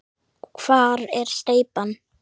Hvar er steypan?